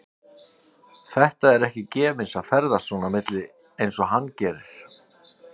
Þetta er ekki gefins að ferðast svona á milli og eins og hann gerir.